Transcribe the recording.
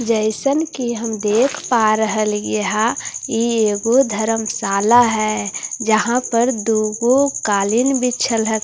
जैसन कि हम देख पा रहल हिए यहां ई एगो वो धर्मशाला है जहां पर दूगो कालीन बिछल ---